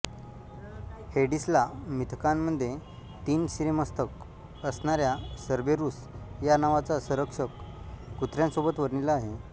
हेडिसला मिथकांमध्ये तीन शिरेमस्तक असणाऱ्या सर्बेरूस या नावाचा संरक्षक कुत्र्यासोबत वर्णिला आहे